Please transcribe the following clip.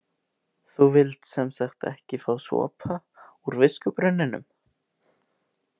Þú vilt sem sagt ekki fá sopa úr viskubrunninum?